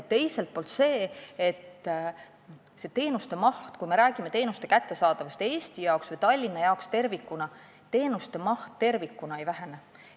Teiselt poolt, kui me räägime teenuste kättesaadavusest Eestis või Tallinnas, siis teenuste maht tervikuna ei vähene.